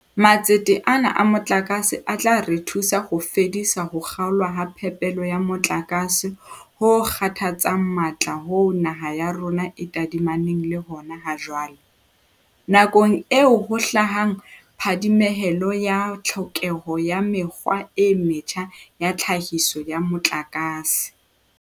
Matsete ana a motlakase a tla re thusa ho fedisa ho kga olwa ha phepelo ya motlakase ho kgathatsang matla hoo naha ya rona e tadimaneng le hona ha jwale, nakong eo ho hlahang phadimehelo ya tlhokeho ya mekgwa e metjha ya tlhahiso ya motlakase.